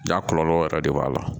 Ja kɔlɔlɔ yɛrɛ de b'a la